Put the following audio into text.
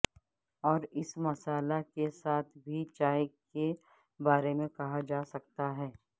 اور اس مسالا کے ساتھ بھی چائے کے بارے میں کہا جا سکتا ہے